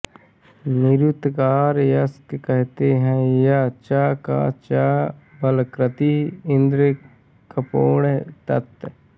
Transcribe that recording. निरूक्ताकार यास्क कहते है या च का च बलकृतिः इन्द्र कमेर्ण तत्